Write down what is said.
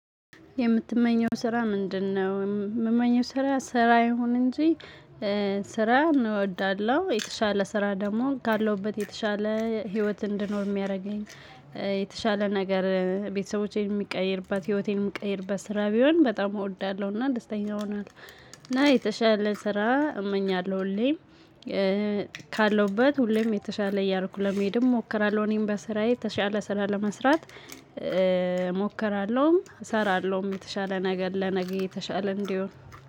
የምትመኘው ስራ ምንድነው? የምመኘው ስራ ስራ ይሁን እንጂ ስራ እወዳለሁ የተሻለ ስራ ደግሞ ካለውበት የተሻለ ህይወት እንድኖር የሚያደርገኝ። የተሻለ ነገር ቤተሰቦቼን የምቀይርበት ህይወቴን የምቀይርበት ስራ ቢሆን በጣም እወዳለሁ እና ደስተኛ ሆናለሁ። እና የተሻለ ስራ እመኛለሁ ሁሌም ካለውበት ሁሌም የተሻለ እያልኩ ለመሄድም እሞክራለሁ። እኔም በስራዬ ተሻለ ስራ ለመስራት እሞክራለሁም እሰራለሁም የተሻለ ነገር ለነገ የተሻለ እንዲሆን።